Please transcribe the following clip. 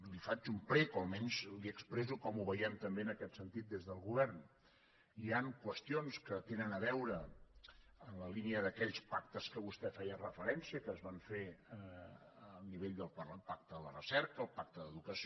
li faig un prec o almenys li expresso com ho veiem també en aquest sentit des del govern hi han qüestions que tenen a veure en la línia d’aquells pactes a què vostè feia referència que es van fer a nivell del pacte de la recerca el pacte d’educació